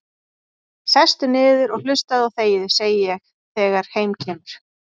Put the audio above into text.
Sestu niður og hlustaðu og þegiðu, segi ég þegar heim kemur.